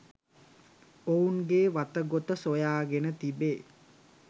ඔවුන්ගේ වතගොත සොයාගෙන තිබේ.